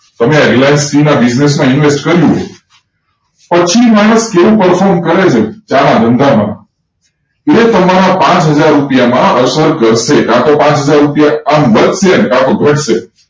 તમે આ reliancetea મા business મા invest કર્યું હોય પછી માની લો કેવુ perform કરે છે ચા ના ધંધા મા એ તમારા પાંચ હજાર રુપિયામાં અસર કરશે કાતો પાંચ હજાર આમ વધશે કાતો ગટશે